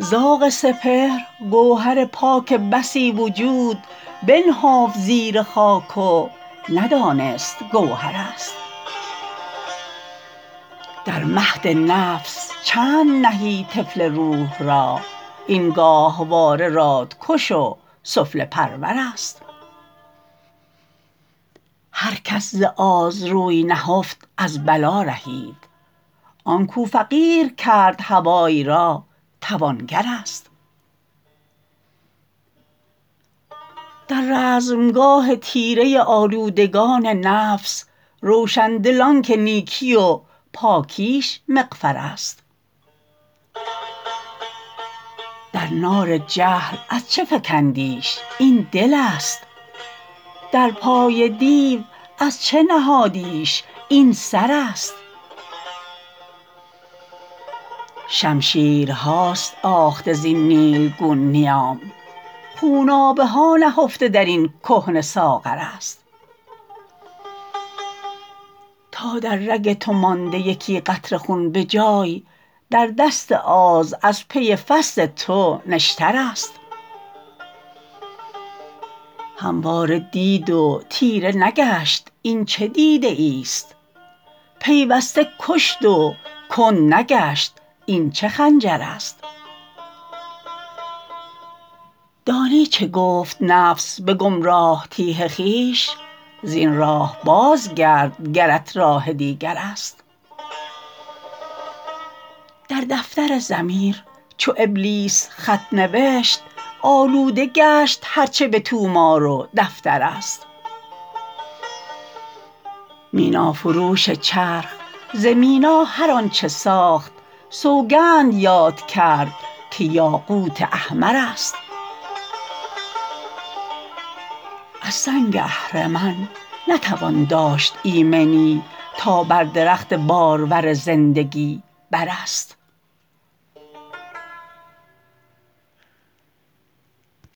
زاغ سپهر گوهر پاک بسی وجود بنهفت زیر خاک و ندانست گوهر است در مهد نفس چند نهی طفل روح را این گاهواره رادکش و سفله پرور است هر کس ز آز روی نهفت از بلا رهید آنکو فقیر کرد هوای را توانگر است در رزمگاه تیره آلودگان نفس روشندل آنکه نیکی و پاکیش مغفر است در نار جهل از چه فکندیش این دلست در پای دیو از چه نهادیش این سر است شمشیرهاست آخته زین نیلگون نیام خونابه هانهفته در این کهنه ساغر است تا در رگ تو مانده یکی قطره خون بجای در دست آز از پی فصد تو نشتر است همواره دید و تیره نگشت این چه دیده ایست پیوسته کشت و کندنگشت این چه خنجر است دانی چه گفت نفس بگمراه تیه خویش زین راه بازگرد گرت راه دیگر است در دفتر ضمیر چو ابلیس خط نوشت آلوده گشت هرچه بطومار و دفتر است مینا فروش چرخ ز مینا هر آنچه ساخت سوگند یاد کرد که یاقوت احمر است از سنگ اهرمن نتوان داشت ایمنی تا بر درخت بارور زندگی بر است